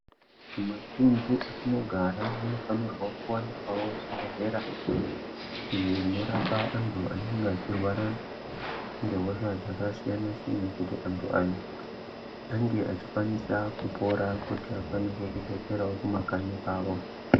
Matuntu atinogara munofanirwa kuwanikwawo zvibhedhlera iyo inorapa antu anenge echirwara ngehosha zvakasiyana siyana kuti antu aya ange achikwanisa kupora kuti vakwanise kudzokera kumakanyi avo.